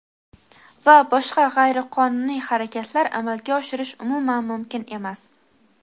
va boshqa g‘ayriqonuniy harakatlar amalga oshirish umuman mumkin emas.